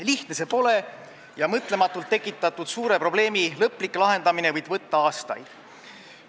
Lihtne see pole ja mõtlematult tekitatud suure probleemi lõplik lahendamine võib võtta aastaid.